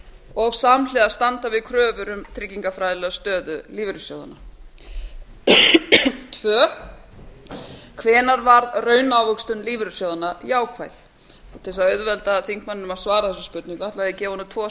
og samhliða standa við kröfur um tryggingafræðilega stöðu lífeyrissjóðanna tvö hvenær varð raunávöxtun lífeyrissjóðanna jákvæð til þess að auðvelda þingmanninum að svara þessari spurningu ætla ég að gefa honum tvo